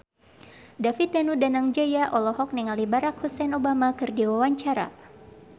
David Danu Danangjaya olohok ningali Barack Hussein Obama keur diwawancara